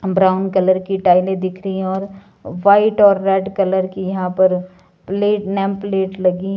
brown colour की टाइलें दिख रही हैं और व्हाइट और रेड कलर की यहां पर प्लेट नेम प्लेट लगी--